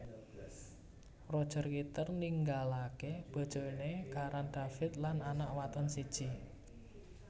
Roger Kitter ninggalaké bojoné Karan David lan anak wadon siji